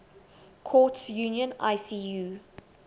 courts union icu